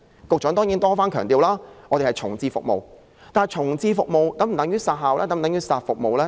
局長雖多番強調是重置服務，但重置服務是否等於要"殺服務"呢？